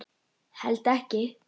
Held ekki.